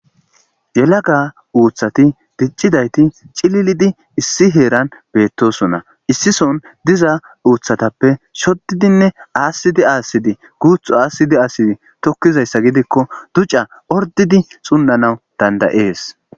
yelaga uuthati diccidayti cililidi issi heeran beettosona issison diza uuthatappe shoddidinne aasidi aasidi guuthu aasidi aasidi tokkizayssa gidikko duca ordidi sunnanaw dandayees